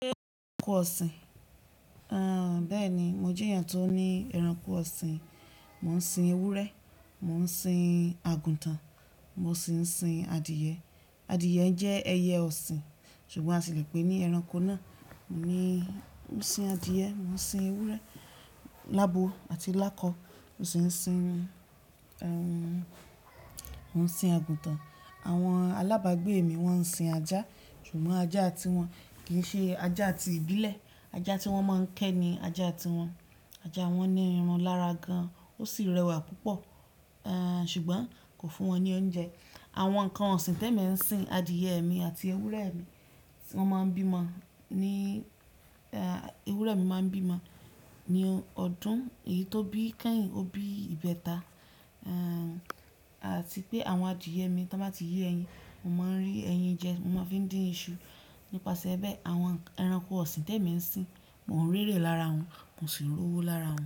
Ṣé ẹranko ọ̀sìn? Bẹ́ẹ̀ni, mo jẹ́ èèyàn tó ní ẹranko ọ̀sìn. Mò ń sin ewúrẹ́, mò ń sin àgùntàn, mo sì ń sin adìẹ. Adìẹ jẹ́ ẹyẹ ọ̀sìn, ṣùgbọ́n a sì lè pè é ní ẹranko náà. Mo ń sin adìẹ, mo ń sin ewúrẹ́, lábo àti lákọ. Mo si n sin, mò ń sin àgùntàn. Àwọn alábàágbé mi wọ́n ń sin ajá, ṣùgbọ́n ajá tiwọn kì í ṣe ajá ti ìbílẹ̀. Ajá tí wọ́n máa ń kẹ́ ni ajá tiwọn. Ajá wọn ní irun lára gan, ó sì rẹwà púpọ̀, ṣùgbọ́n kò fún wọn ní oúnjẹ. Àwọn nǹkan ọ̀sìn tẹ́mi ń sin adìẹ mi àti ewúrẹ́ mi. Wọ́n máa ń bímọ ni, ẹ́ ewúrẹ́ mi máa ń bímọ ní ọdún. Èyí tó bí kẹ́yìn ó bí ìbẹta. Àti pé àwọn adìẹ mi tí wọ́n bá ti yé ẹyin, mo máa ń rí ẹyin jẹ, mo máa fi ń dín iṣu. Nípasẹ̀ ẹ́ bẹ́ẹ̀ àwọn ẹranko ọ̀sìn tẹ́mi ń sin, mò ń rẹ́rẹ́ lára wọn, mo sì ń rówó lára wọn.